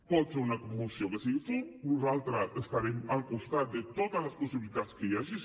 pot ser una moció que sigui fum nosaltres estarem al costat de totes les possibilitats que hi hagi